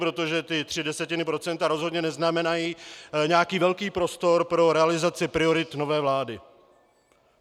Protože ty tři desetiny procenta rozhodně neznamenají nějaký velký prostor pro realizaci priorit nové vlády.